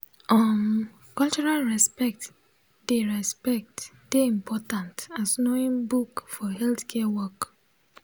um cultural respect dey respect dey important as knowing book for healthcare work